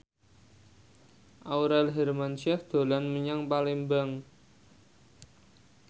Aurel Hermansyah dolan menyang Palembang